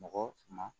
Mɔgɔ ma